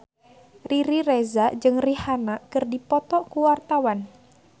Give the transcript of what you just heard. Riri Reza jeung Rihanna keur dipoto ku wartawan